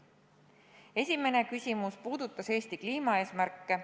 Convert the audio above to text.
Esimene küsimus puudutas Eesti kliimaeesmärke.